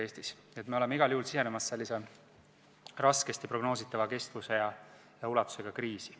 Nii et me oleme igal juhul sisenenud raskesti prognoositava kestuse ja ulatusega kriisi.